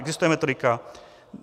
Existuje metodika?